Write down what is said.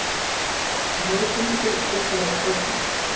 Hún horfði í kringum sig og sussaði á strákinn.